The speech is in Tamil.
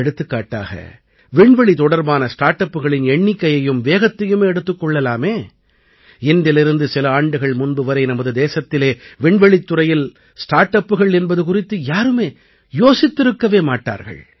எடுத்துக்காட்டாக விண்வெளி தொடர்பான ஸ்டார்ட் அப்புகளின் எண்ணிக்கையையும் வேகத்தையுமே எடுத்துக் கொள்ளலாமே இன்றிலிருந்து சில ஆண்டுகள் முன்புவரை நமது தேசத்திலே விண்வெளித்துறையில் ஸ்டார்ட் அப்புகள் என்பது குறித்து யாருமே யோசித்திருக்கவே மாட்டார்கள்